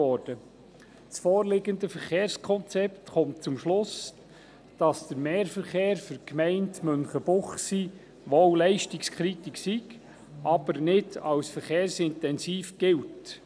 Das vorliegende Verkehrskonzept kommt zum Schluss, dass der Mehrverkehr für die Gemeinde Münchenbuchsee wohl leistungskritisch ist, jedoch nicht als verkehrsintensiv gilt.